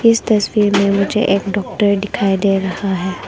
इस तस्वीर में मुझे एक डॉक्टर दिखाई दे रहा है।